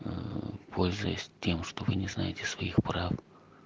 аа пользуясь тем что вы не знаете своих прав